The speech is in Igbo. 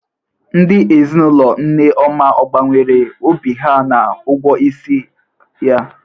Ndị ezinaụlọ Nneoma ọ gbanwere obi ha na ụgwọ isi ya?